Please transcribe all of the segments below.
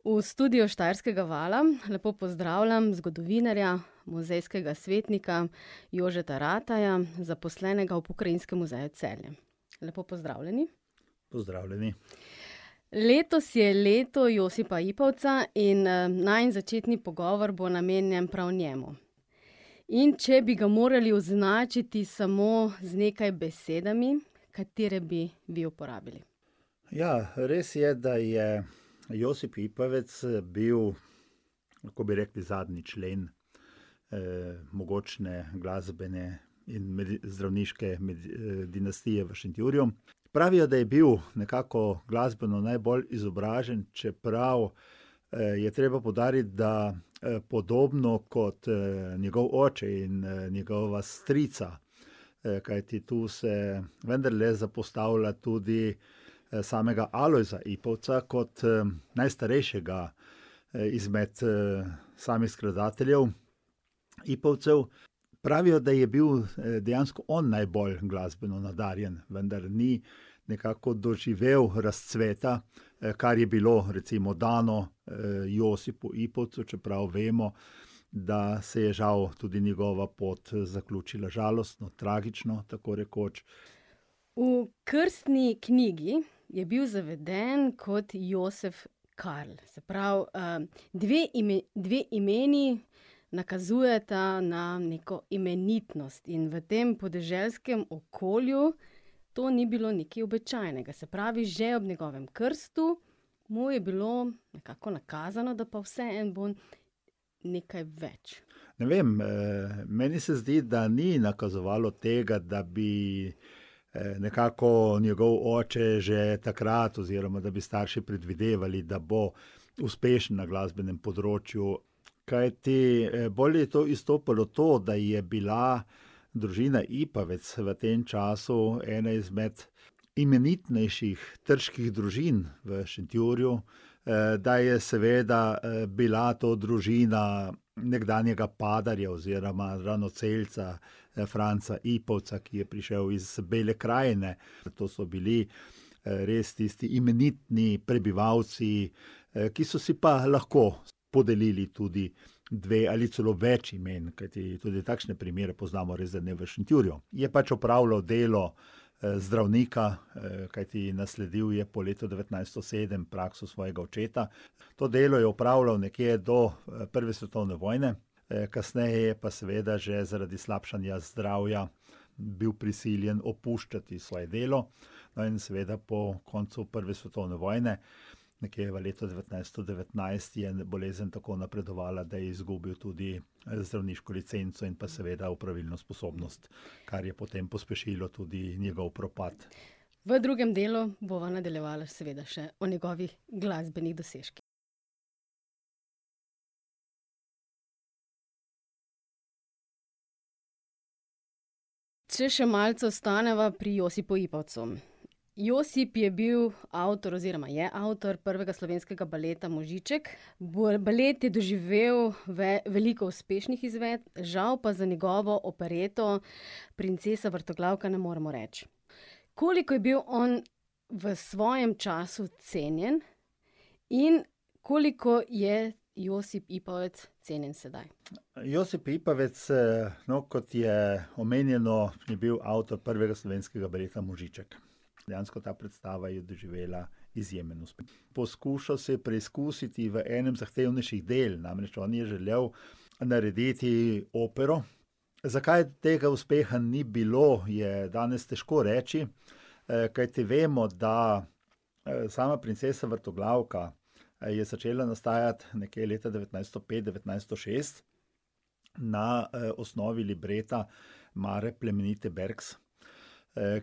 V studiu Štajerskega Vala lepo pozdravljam zgodovinarja, muzejskega svetnika Jožeta Rataja, zaposlenega v Pokrajinskem muzeju Celje. Lepo pozdravljeni. Pozdravljeni. Letos je leto Josipa Ipavca in, najin začetni pogovor bo namenjen prav njemu. In če bi ga morali označiti samo z nekaj besedami, katere bi vi uporabili? Ja, res je, da je Josip Ipavec, bil, lahko bi rekli, zadnji člen, mogočne glasbene in zdravniške dinastije v Šentjurju. Pravijo, da je bil nekako glasbeno najbolj izobražen, čeprav, je treba poudariti, da, podobno kot, njegov oče in, njegova strica, kajti tu se vendarle zapostavlja tudi samega Alojza Ipavca kot, najstarejšega, izmed, samih skladateljev Ipavcev. Pravijo, da je bil, dejansko on najbolj glasbeno nadarjen, vendar ni nekako doživel razcveta, kar je bilo recimo dano, Josipu Ipavcu, čeprav vemo, da se je žal tudi njegova pot, zaključila žalostno, tragično, tako rekoč. V krstni knjigi je bil zaveden kot Josef Karl, se pravi, dve dve imeni nakazujeta na neko imenitnost. In v tem podeželskem okolju to ni bilo nekaj običajnega. Se pravi, že ob njegovem krstu mu je bilo nekako nakazano, da pa vseeno bo nekaj več. Ne vem. meni se zdi, da ni nakazovalo tega, da bi, nekako njegov oče že takrat oziroma da bi starši predvidevali, da bo uspešen na glasbenem področju. Kajti, bolj je tu izstopalo to, da je bila družina Ipavec v tem času ena izmed imenitnejših trških družin v Šentjurju, da je seveda, bila to družina nekdanjega padarja oziroma ranocelca Franca Ipavca, ki je prišel iz Bele krajine. To so bili, res tisti imenitni prebivalci, ki so si pa lahko podelili tudi dve ali celo več imen. Kajti tudi takšne primere poznamo. Res, da ne v Šentjurju. Je pač opravljal delo, zdravnika, kajti nasledil je po letu devetnajststo sedem prakso svojega očeta. To delo je opravljal nekje do prve svetovne vojne, kasneje je pa seveda že zaradi slabšanja zdravja bil prisiljen opuščati svoje delo. No, in seveda po koncu prve svetovne vojne, nekje v letu devetnajststo devetnajst, je bolezen tako napredovala, da je izgubil tudi, zdravniško licenco in pa seveda opravilno sposobnost, kar je potem pospešilo tudi njegov propad. V drugem delu bova nadaljevala seveda še o njegovih glasbenih dosežkih. Če še malce ostaneva pri Josipu Ipavcu. Josip je bil avtor oziroma je avtor prvega slovenskega baleta Možiček. Balet je doživel veliko uspešnih izvedb, žal pa za njegovo opereto Princesa vrtoglavka ne moremo reči. Koliko je bil on v svojem času cenjen in koliko je Josip Ipavec cenjen sedaj? Josip Ipavec, no, kot je omenjeno, je bil avtor prvega slovenskega baleta Možiček. Dejansko ta predstava je doživela izjemen uspeh. Poskušal se je preizkusiti v enem zahtevnejših del, namreč on je želel narediti opero. Zakaj tega uspeha ni bilo, je danes težko reči, kajti vemo, da, sama Princesa vrtoglavka, je začela nastajati nekje leta devetnajststo pet, devetnajststo šest na, osnovi libreta Mare plemenite Berks,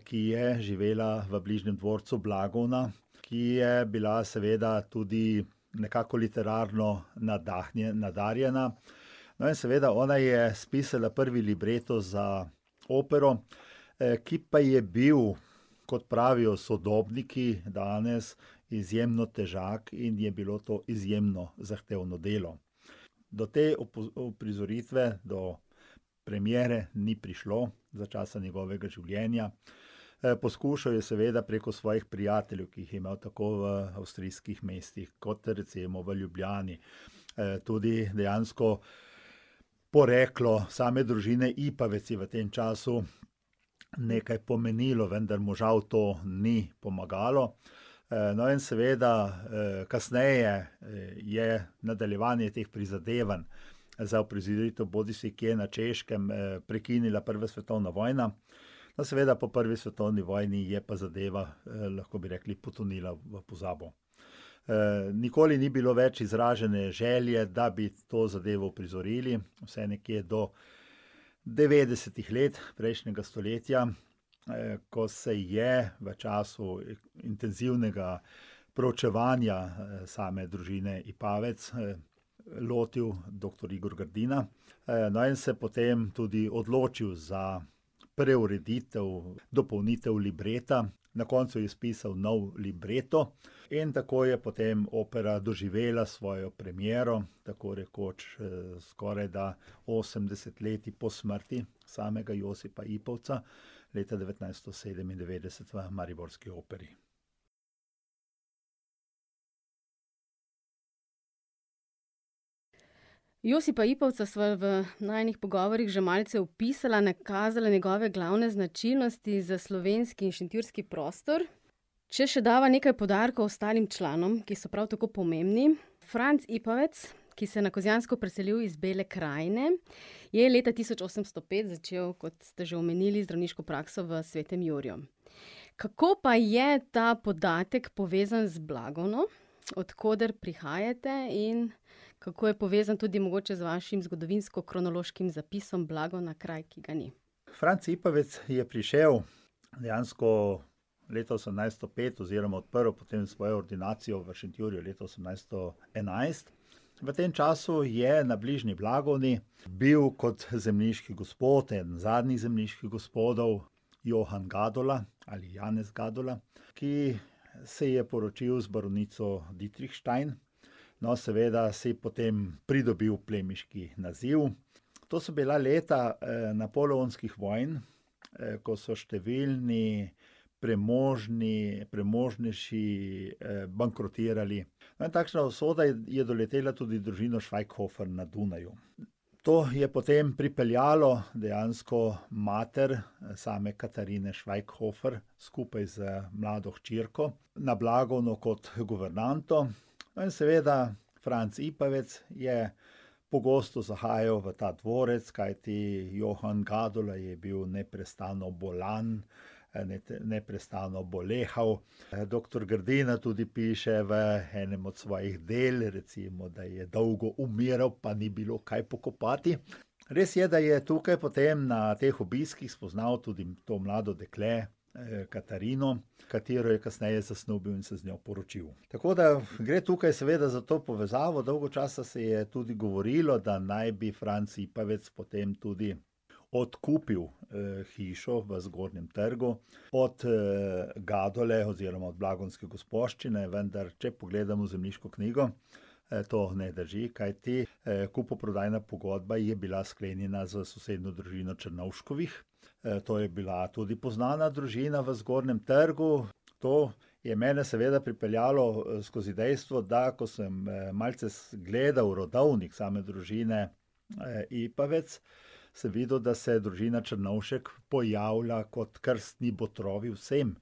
ki je živela v bližnjem dvorcu Blagovna, ki je bila seveda tudi nekako literarno nadarjena. No, in seveda ona je spisala prvi libreto za opero, ki pa je bil, kot pravijo sodobniki danes, izjemno težak in je bilo to izjemno zahtevno delo. Do te uprizoritve, do premiere ni prišlo za časa njegovega življenja. poskušal je seveda preko svojih prijateljev, ki jih je imel tako v avstrijskih mestih kot recimo v Ljubljani. tudi dejansko poreklo same družine Ipavec je v tem času nekaj pomenilo, vendar mu žal to ni pomagalo. no, in seveda kasneje je nadaljevanje teh prizadevanj za uprizoritev bodisi kje na Češkem, prekinila prva svetovna vojna. Pa seveda po prvi svetovni vojni je pa zadeva, lahko bi rekli, potonila v pozabo. nikoli ni bilo več izražene želje, da bi to zadevo uprizorili, vse nekje do devetdesetih let prejšnjega stoletja, ko se je v času intenzivnega proučevanja, same družine Ipavec, lotil doktor Igor Grdina. no, in se je potem tudi odločil za preureditev, dopolnitev libreta. Na koncu je spisal nov libreto in tako je potem opera doživela svojo premiero, tako rekoč, skorajda osem desetletij po smrti samega Josipa Ipavca, leta devetnajststo sedemindevetdeset v mariborski operi. Josipa Ipavca sva v najinih pogovorih že malce opisala, nakazala njegove glavne značilnosti za slovenski in šentjurski prostor. Če še dava nekaj poudarkov ostalim članom, ki so prav tako pomembni. Franc Ipavec, ki se je na Kozjansko preselil iz Bele krajine, je leta tisoč osemsto pet začel, kot ste že omenili, zdravniško prakso v Svetem Juriju. Kako pa je ta podatek povezan z Blagovno, od koder prihajate, in kako je povezan tudi mogoče z vašim zgodovinskokronološkim zapisom Blagovna, kraj, ki ga ni? Franc Ipavec je prišel dejansko leta osemnajststo pet oziroma odprl potem svojo ordinacijo v Šentjurju leta osemnajststo enajst. V tem času je na bližnji Blagovni bil kot zemljiški gospod, eden zadnjih zemljiških gospodov, Johan Gadola ali Janez Gadola, ki se je poročil z baronico Ditrihštajn. No, seveda si potem pridobili plemiški naziv. To so bila leta, napoleonskih vojn, ko so številni premožni, premožnjši, bankrotirali. No, takšna usoda je doletela tudi družino Švajghofer na Dunaju. To je potem pripeljalo dejansko mater same Katarine Švajghofer skupaj z mlado hčerko na Blagovno kot guvernanto. No, in seveda Franc Ipavec je pogosto zahajal v ta dvorec, kajti Johan Gadola je bil neprestano bolan, neprestano bolehal. doktor Grdina tudi piše v enem od svojih del, recimo, da je dolgo umiral, pa ni bilo kaj pokopati. Res je, da je tukaj potem na teh obiskih spoznal tudi to mlado dekle, Katarino, katero je kasneje zasnubil in se z njo poročil. Tako da gre tukaj seveda za to povezavo. Dolgo časa se je tudi govorilo, da naj bi Franc Ipavec potem tudi odkupil, hišo v zgornjem trgu od, Gadole oziroma od blagonske gospoščine, vendar, če pogledamo zemljiško knjigo, to ne drži, kajti, kupoprodajna pogodba je bila sklenjena s sosednjo družino Črnovškovih. to je bila tudi poznana družina v zgornjem trgu. To je mene seveda pripeljalo, skozi dejstvo, da, ko sem, malce gledal rodovnik same družine, Ipavec, sem videl, da se je družina Črnovšek pojavila kot krstni botri vsem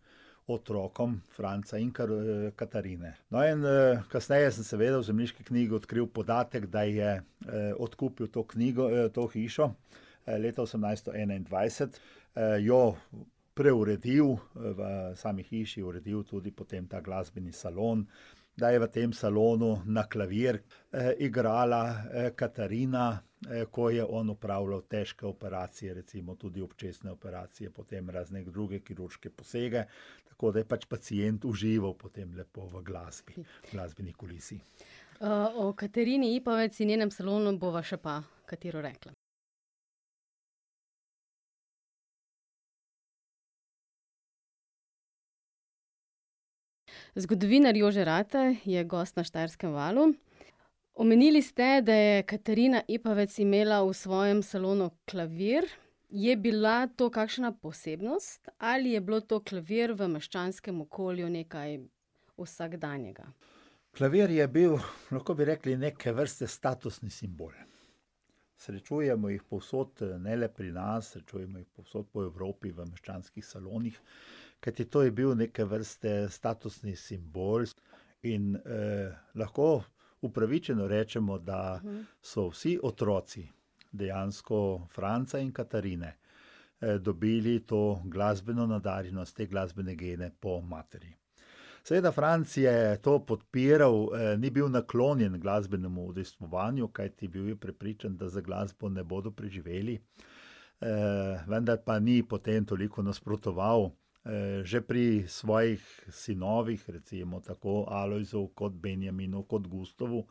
otrokom Franca in Katarine. No, in, kasneje sem seveda v zemljiški knjigi odkrili podatek, da je, odkupil to knjigo, to hišo, leta osemnajststo enaindvajset, jo preuredil, v sami hiši uredil tudi potem ta glasbeni salon, da je v tem salonu na klavir, igrala Katarina, ko je on opravljal težke operacije, recimo tudi očesne operacije, potem razne druge kirurške posege. Tako da je pač pacient užival potem lepo v glasbi, glasbeni kulisi. o Katarini Ipavec in njenem salonu bova še pa katero rekla. Zgodovinar Jože Rataj je gost na Štajerskem valu. Omenili ste, da je Katarina Ipavec imela v svojem salonu klavir. Je bila to kakšna posebnost ali je bilo to, klavir, v meščanskem okolju nekaj vsakdanjega? Klavir je bil, lahko bi rekli, neke vrste statusni simbol. Srečujemo jih povsod, ne le pri nas, srečujemo jih povsod po Evropi v meščanskih salonih. Kajti to je bil neke vrste statusni simbol in, lahko upravičeno rečemo, da so vsi otroci dejansko Franca in Katarine, dobili to glasbeno nadarjenost, te glasbene gene po materi. Seveda Franc je to podpiral, ni bil naklonjen glasbenemu udejstvovanju, kajti bil je prepričan, da z glasbo ne bodo preživeli. vendar pa ni potem toliko nasprotoval. že pri svojih sinovih, recimo, tako Alojzu kot Benjaminu kot Gustavu,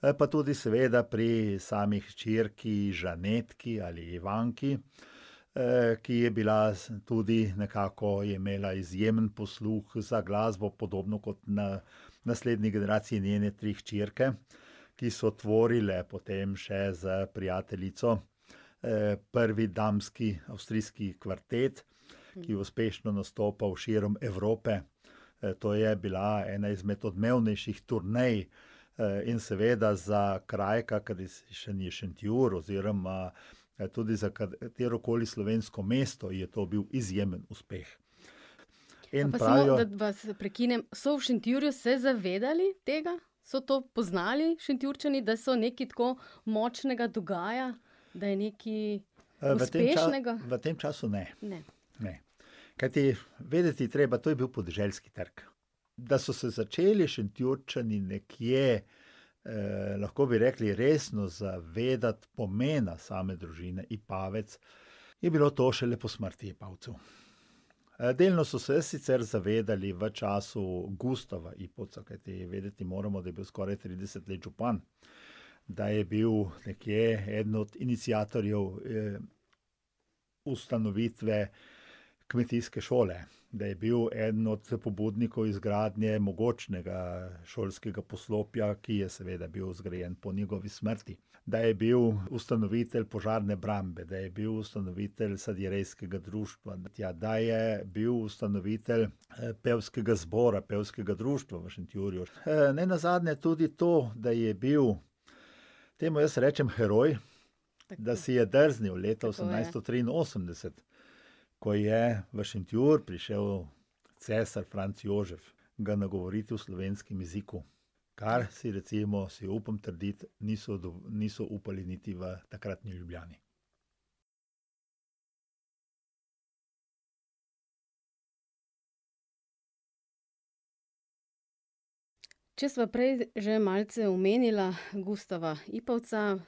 pa tudi seveda pri sami hčerki Žanetki ali Ivanki, ki je bila tudi nekako je imela izjemen posluh za glasbo, podobno kot v naslednji generaciji njene tri hčerke, ki so tvorile potem še s prijateljico, prvi damski avstrijski kvartet, ki je uspešno nastopal širom Evrope. to je bila ena izmed odmevnejših turnej, in seveda za kraj, kakršen je Šentjur oziroma, tudi za katerokoli slovensko mesto je to bil izjemen uspeh. In pravijo ... Pa samo, da vas prekinem. So v Šentjurju se zavedali tega? So to poznali Šentjurčani, da so nekaj tako močnega dogaja? Da je nekaj v tem uspešnega? V tem času ne. Ne. Ne. Kajti, vedeti je treba, to je bil podeželski trg. Da so se začeli Šentjurčani nekje, lahko bi rekli, resno zavedati pomena same družine Ipavec, je bilo to šele po smrti Ipavcev. delno so se sicer zavedali v času Gustava Ipavca, kajti vedeti moramo, da je bil skoraj trideset let župan, da je bil nekje eden od iniciatorjev, ustanovitve kmetijske šole. Da je bil eden od pobudnikov izgradnje mogočnega šolskega poslopja, ki je seveda bil zgrajen po njegovi smrti. Da je bil ustanovitelj požarne brambe, da je bil ustanovitelj sadjerejskega društva, da je bil ustanovitelj, pevskega zbora, pevskega društva v Šentjurju. nenazadnje tudi to, da je bil, temu jaz rečem, heroj, da si je drznil leta osemnajststo triinosemdeset, ko je v Šentjur prišel cesar Franc Jožef, ga nagovorit v slovenskem jeziku. Kar si recimo, si upam trditi, niso niso upali niti v takratni Ljubljani. Če sva prej že malce omenila Gustava Ipavca,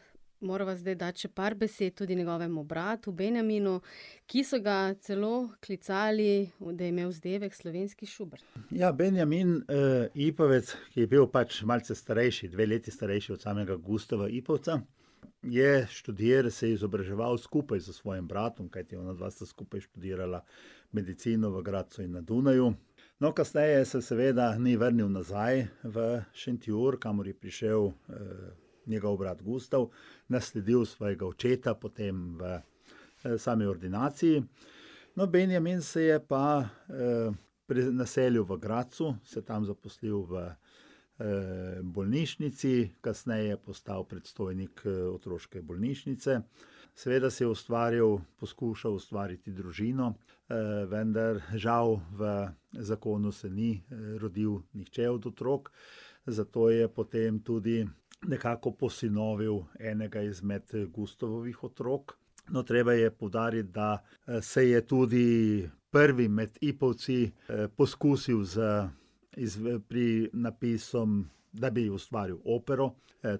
morava zdaj dati še par besed tudi njegovemu bratu Benjaminu, ki so ga celo klicali, da je imel vzdevek slovenski Schubert. Ja, Benjamin, Ipavec je bil pač malce starejši, dve leti starejši od samega Gustava Ipavca. Je se je izobraževal skupaj s svojim bratom, kajti onadva sta skupaj študirala medicino v Gradcu in na Dunaju. No, kasneje se seveda ni vrnil nazaj v Šentjur, kamor je prišel, njegov brat Gustav, nasledil svojega očeta potem v sami ordinaciji. No, Benjamin se je pa, naselil v Gradcu, se tam zaposlil v, bolnišnici, kasneje postal predstojnik, otroške bolnišnice. Seveda si je ustvarjal, poskušal ustvariti družino, vendar žal v zakonu se ni, rodil nihče od otrok. Zato je potem tudi nekako posinovil enega izmed Gustavovih otrok. No, treba je poudariti, da, se je tudi prvi med Ipavci, poskusil z napisom, da bi ustvaril opero.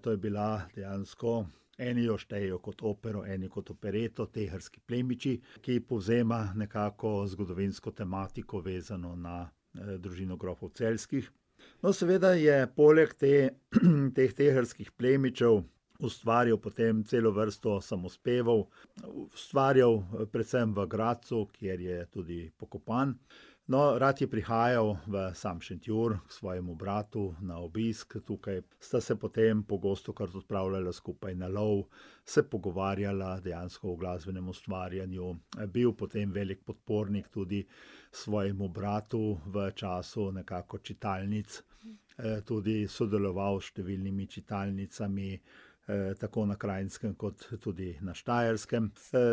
to je bila, dejansko eni jo štejejo kot opero, eni kot opereto, Teharski plemiči, ki povzema nekako zgodovinsko tematiko, vezano na, družino grofov celjskih. No, seveda je poleg te, teh Teharskih plemičev ustvaril potem celo vrsto samospevov. Ustvarjal predvsem v Gradcu, kjer je tudi pokopan. No, rad je prihajal v sam Šentjur k svojemu bratu na obisk. Tukaj sta se potem pogostokrat odpravljala skupaj na love, se pogovarjala dejansko o glasbenem ustvarjanju. Je bil potem veliko podpornik tudi svojemu bratu v času nekako čitalnic, tudi sodeloval s številnimi čitalnicami, tako na Krajnskem kot tudi na Štajerskem.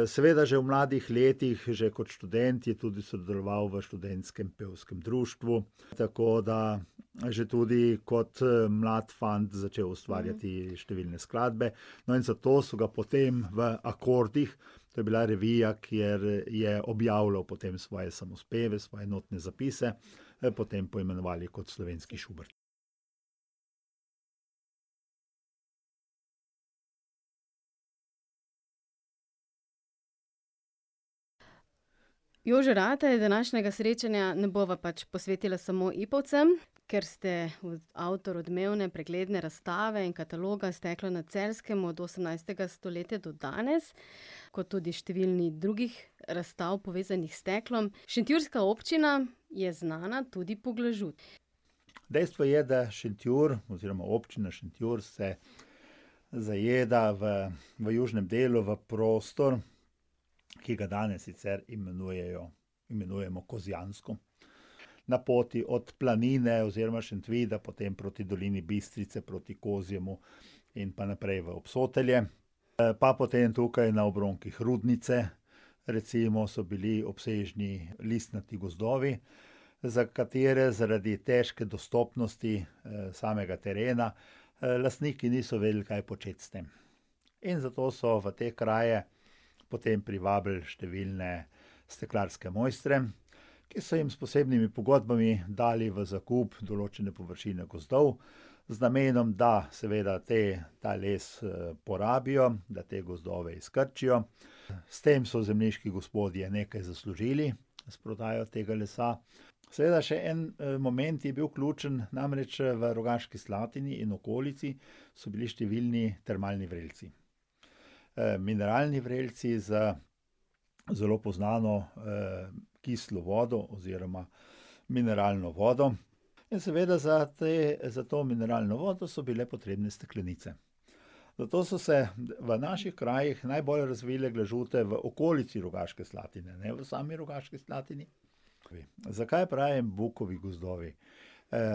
seveda že v mladih letih, že kot študent, je tudi sodeloval v študentskem pevskem društvu. Tako da že tudi kot, mlad fant začel ustvarjati številne skladbe. No, in zato so ga potem v Akordih, to je bila revija, kjer je objavljal potem svoje samospeve, svoje notne zapise, potem poimenovali kot slovenski Schubert. Jože Rataj, današnjega srečanja ne bova pač posvetila samo Ipavcem, ker ste avtor odmevne, pregledne razstave in kataloga Steklo na Celjskem od osemnajstega stoletja do danes kot tudi številnih drugih razstav, povezanih s steklom. Šentjurska občina je znana tudi po glažu. Dejstvo je, da Šentjur, oziroma Občina Šentjur se zajeda v, v južnem delu v prostor, ki ga danes sicer imenujejo, imenujemo Kozjansko. Na poti od Planine oziroma Šentvida potem proti dolini Bistrice proti Kozjemu in pa naprej v Obsotelje, pa potem tukaj na obronkih Rudnice, recimo, so bili obsežni listnati gozdovi, za katere zaradi težke dostopnosti, samega terena, lastniki niso vedeli, kaj početi s tem. In zato so v te kraje potem privabili številne steklarske mojstre, ki so jim s posebnimi pogodbami dali v zakup določene površine gozdov z namenom, da seveda te, ta les, porabijo, da te gozdove izkrčijo. S tem so zemljiški gospodje nekaj zaslužili, s prodajo tega lsa. Seveda še en, moment je bil ključen, namreč, v Rogaški Slatini in okolici so bili številni termalni vrelci, mineralni vrelci z zelo poznano, kislo vodo oziroma mineralno vodo. In seveda za te, za to mineralno vodo so bile potrebne steklenice. Zato so se v naših krajih najbolj razvile glažute v okolici Rogaške Slatine, ne v sami Rogaški Slatini. Zakaj pravim bukovi gozdovi?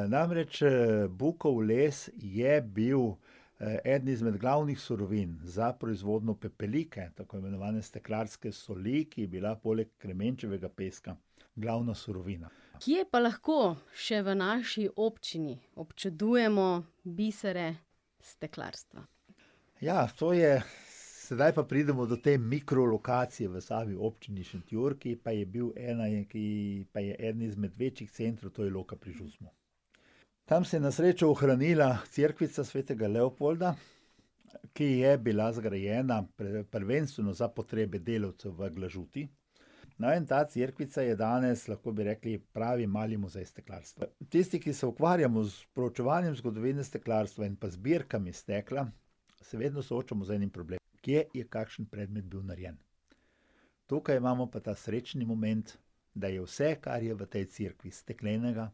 namreč, bukov les je bil eden izmed glavnih surovin za proizvodnjo pepelike, tako imenovane steklarske soli, ki je bila poleg kremenčevega peska glavna surovina. Kje pa lahko še v naši občini občudujemo bisre steklarstva? Ja, to je ... Zdaj pa pridemo do te mikrolokacije v sami občini Šentjur, ki pa je bil ena ki pa je eden izmed večjih centrov, to je Loka pri Žusmu. Tam se je na srečo ohranila cerkvica svetega Leopolda, ki je bila zgrajena prvenstveno za potrebe delavcev v glažuti. No, in ta cerkvica je danes, lahko bi rekli, pravi mali muzej steklarstva. Tisti, ki se ukvarjamo s preučevanjem zgodovine steklarstva in pa zbirkami stekla, se vedno soočamo z enim problemom: kje je kakšen predmet bil narejen. Tukaj imamo pa ta srečni moment, da je vse, kar je v tej cerkvi steklenega,